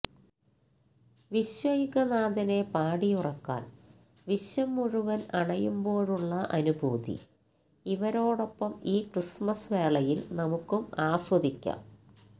വിശ്വൈകനാഥനെ പാടിയുറക്കാന് വിശ്വം മുഴുവന് അണയുമ്പോഴുള്ള അനുഭൂതി ഇവരോടൊപ്പം ഈ ക്രിസ്മസ് വേളയില് നമുക്കും ആസ്വദിക്കാം